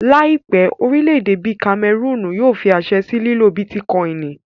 Láìpẹ́, orílẹ̀-èdè bíi kamẹrùnù yóò fí àṣẹ sí lílo bítíkọìnì